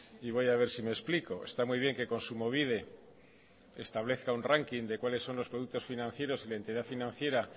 y voy a ver si me explico está muy bien que kontsumobide establezca un ranking de cuáles son los productos financieros y de entidad financiera